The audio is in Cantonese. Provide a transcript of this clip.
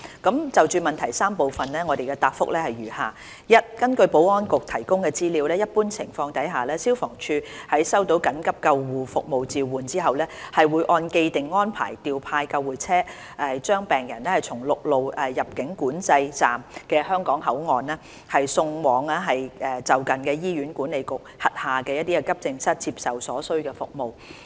就質詢的3個部分，我的答覆如下：一根據保安局提供的資料，一般情況下，消防處在收到緊急救護服務召喚後，會按既定安排調派救護車，把病人從陸路出入境管制站的香港口岸，送往就近的醫院管理局轄下的急症室接受所需服務。